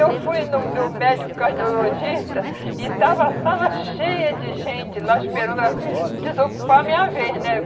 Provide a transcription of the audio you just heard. Eu fui no meu médico cardiologista e estava a sala cheia de gente lá esperando a desocupar a minha vez, né?